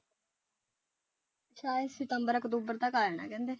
ਸ਼ਾਇਦ ਸਤੰਬਰ ਅਕਬੂਤਰ ਤੱਕ ਆ ਜਾਣਾ ਕਹਿੰਦੇ।